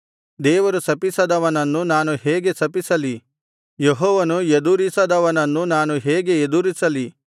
ದೇವರು ಶಪಿಸದವನನ್ನು ನಾನು ಹೇಗೆ ಶಪಿಸಲಿ ಯೆಹೋವನು ಎದುರಿಸದವನನ್ನು ನಾನು ಹೇಗೆ ಎದುರಿಸಲಿ